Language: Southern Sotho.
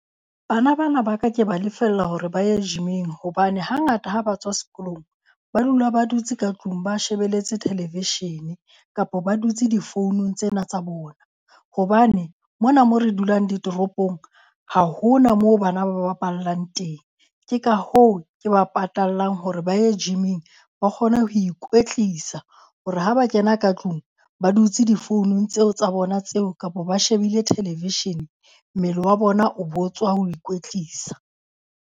Bana ba na ba ka ke ba lefella hore ba ye gym-ing hobane hangata ha ba tswa sekolong, ba dula ba dutse ka tlung ba shebeletse television-e. Kapo ba dutse difounung tsena tsa bona. Hobane mona mo re dulang ditoropong, ha hona moo bana ba bapallang teng. Ke ka hoo, ke ba patallang hore ba ye gym-ing, ba kgone ho ikwetlisa hore ha ba kena ka tlung ba dutse difounung tseo tsa bona tseo kapo ba shebile television, mmele wa bona o bo tswa ho ikwetlisa.